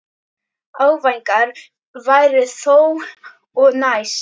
Áfangar væru þó að nást.